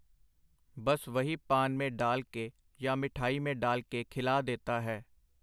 ਬਸ ਵਹੀ ਪਾਨ ਮੇਂ ਡਾਲ ਕੇ ਯਾ ਮਿਠਾਈ ਮੇਂ ਡਾਲ ਕੇ ਖਿਲਾ ਦੇਤਾ ਹੈ.